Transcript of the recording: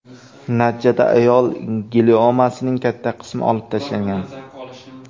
Natijada ayol gliomasining katta qismi olib tashlangan.